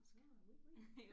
Nåh oui oui